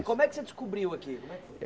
Como é que você descobriu aqui? Como é que foi